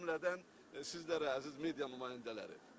O cümlədən sizlərə, əziz media nümayəndələri.